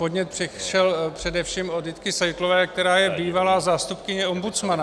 Podnět přišel především od Jitky Seitlové, která je bývalá zástupkyně ombudsmana.